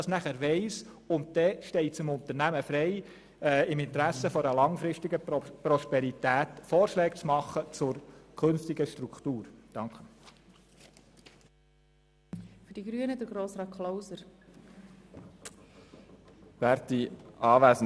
Danach steht es dem Unternehmen frei, im Sinn einer langfristigen Prosperität Vorschläge zur künftigen Struktur zu unterbreiten.